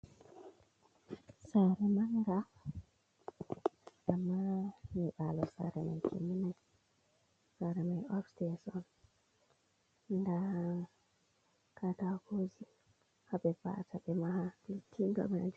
Saari manga amma nyibalo saare mai timminai. Saare on mai upstai on, nda takoji haɓe va'ata ɓe maha beti ga maji.